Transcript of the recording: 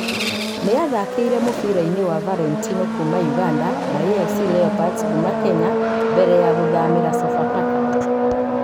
Nĩ athakirie mũbira-inĩ wa Valentino kuuma Ũganda na AFC Leopards kuuma Kenya mbere ya gũthamĩra Sofapaka.